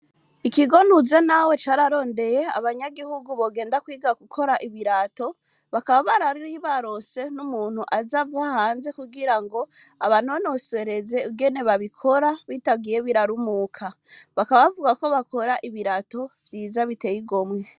ikigo Nuzenawe cararondeye abanyagihugu bogenda kwiga gukora ibirato bakaba bari baronse n'umuntu aza ava hanze kugira ngo abanonosereze ingene babikora bitagiye birarumuka. Bakaba bavuga ko bakora ibirato vyiza biteye igomwe.